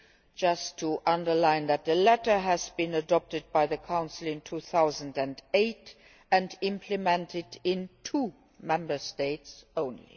I just wish to underline that the latter was adopted by the Council in 2008, and implemented in two Member States only.